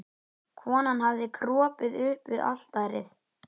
Konan hafði kropið upp við altarið.